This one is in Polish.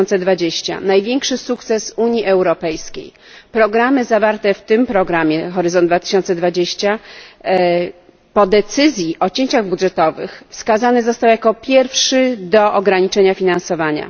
2020. Największy sukces Unii Europejskiej programy zawarte w tym programie Horyzont 2020 po decyzji o cięciach budżetowych wskazany został jako pierwszy do ograniczenia finansowania.